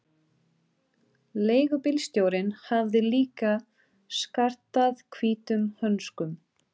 Leigubílstjórinn hafði líka skartað hvítum hönskum.